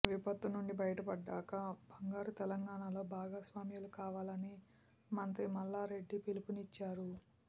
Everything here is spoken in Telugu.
విపత్తు నుంచి బయటపడ్డాక బంగారు తెలంగాణాలో భాగస్వాములు కావాలని మంత్రి మల్లారెడ్డి పిలుపునిచ్చారు